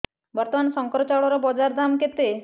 ବର୍ତ୍ତମାନ ଶଙ୍କର ଚାଉଳର ବଜାର ଦାମ୍ କେତେ